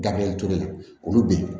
Dabiriyɛli ture olu bɛ yen